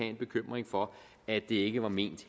en bekymring for at det ikke var ment